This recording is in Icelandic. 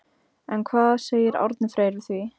En hvað segir Árni Freyr við því?